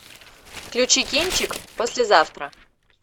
включи кинчик послезавтра